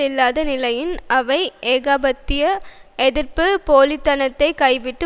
இல்லாத நிலையில் அவை ஏகாதிபத்திய எதிர்ப்பு போலி தனத்தை கைவிட்டு